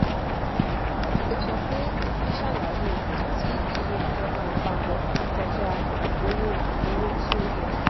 ó sọ pé ìyẹn ṣàlàyé ìdí tí iye ìjọba àpapọ ti kọjá owó owó tí ó yẹ